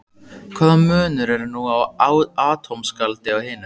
Hvaða munur er nú á atómskáldi og hinum?